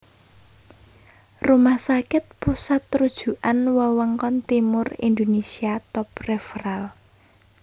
Rumah Sakit Pusat Rujukan Wewengkon Timur Indonesia Top Referal